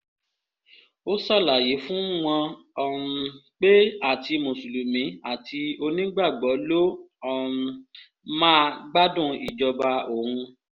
ó ṣàlàyé fún wọn um pé àti mùsùlùmí àti onígbàgbọ́ ló um má gbádùn ìjọba òun